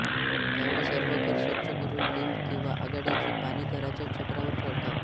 त्यावेळी सर्व घर स्वच्छ करून लिंब किंवा आघाड्याची पाने घराच्या छपरावर ठेवतात